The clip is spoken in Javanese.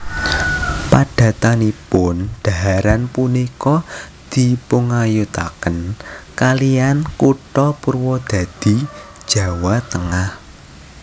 Padatanipun dhaharan punika dipungayutaken kalihan kutha Purwodadi Jawa Tengah